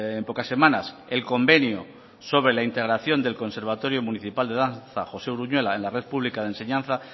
en pocas semanas el convenio sobre la integración del conservatorio municipal de danza josé uruñuela en la red pública de enseñanza